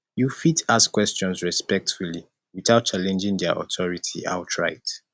you fit ask questions respectfully without challenging their authority outright